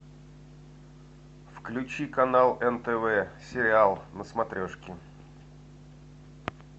включи канал нтв сериал на смотрешке